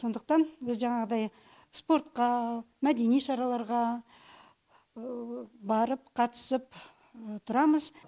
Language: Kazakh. сондықтан біз жаңағыдай спортқа мәдени шараларға барып қатысып тұрамыз